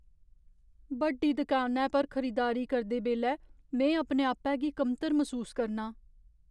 बड्डी दकानै पर खरीदारी करदे बेल्लै में अपने आपै गी कमतर मसूस करनां।